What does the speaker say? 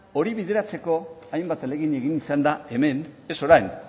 hori bideratzeko hainbat ahalegin egin izan da hemen ez orain